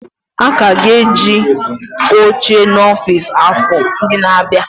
A ka ga-eji oche n'ọfịs, afọ ndị na-abịa.